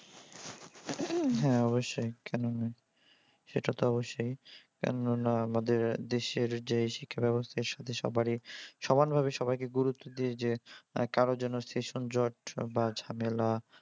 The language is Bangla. হ্যা অবশ্যই কেন নয়। সেটা তো অবশ্যই। কেননা আমাদের দেশের যে শিক্ষা ব্যবস্থার সাথে সবারই সমান ভাবে সবাইকে গুরুত্ব দিয়ে যে কারো যেন session জট বা ঝামেলা